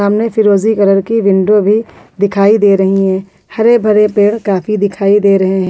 सामने फिरोजी कलर की विंडो भी दिखाई दे रही है हरे भरे पेड़ काफी दिखाई दे रहे हैं।